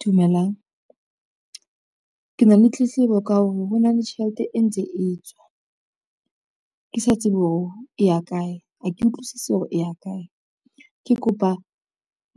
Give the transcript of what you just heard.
Dumelang, ke na le tletlebo ka hore hona le tjhelete e ntse e tswa. Ke sa tsebe hore e ya kae, ha ke utlwisisi hore e ya kae. Ke kopa